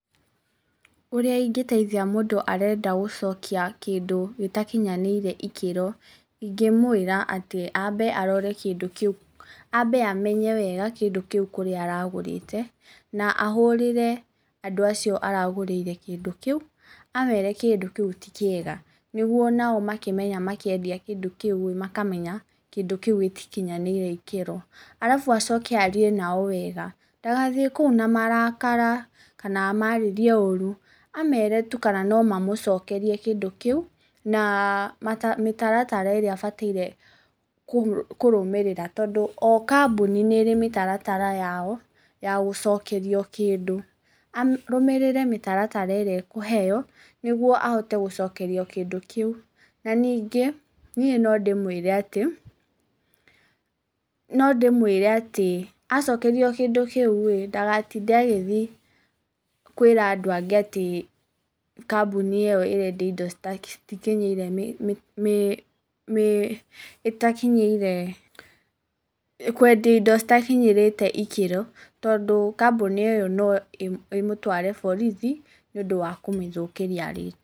Ũrĩa ingĩteithia mũndũ arenda gũcokia kĩndũ gĩtakinyanĩire ikĩro, ingĩmwĩra atĩ ambe arore kĩndũ kĩu, ambe amenye wega kĩndũ kĩu kũrĩa aragũrĩte na ahũrĩre andũ acio aragũrĩire kĩndũ kĩu, amere kĩndũ kĩu ti kĩega, nĩguo onao makĩmenya makĩendia kĩndũ kĩu-ĩ makamenya kĩndũ kĩu gĩtikinyanĩire ikĩro, arabu acoke arie nao wega ndagathiĩ kũu na marakara kana amarĩrie ũru, amere tu kana no mamũcokerie kĩndũ kĩu na mĩtaratara ĩrĩa abataire kũrũmĩrĩra tondũ o kambũni nĩ ĩrĩ mĩtaratara yao ya gũcokerio kĩndũ. Arũmĩrĩre mĩtaratara ĩrĩa ekũheo nĩguo ahote gũcokerio kĩndũ kĩu. Na ningĩ, niĩ no ndĩmwĩre atĩ no ndĩmwĩre atĩ acokerio kĩndũ kĩu-ĩ, ndagatinde agĩthiĩ kwĩra andũ angĩ atĩ kambũni ĩyo ĩrendia indo citikinyĩire mĩ ĩtakinyĩire kwendia indo citakinyĩrĩte ikĩro, tondũ kambũni ĩyo no ĩmũtware borithi nĩũndũ wa kũmĩthũkĩria rĩtwa.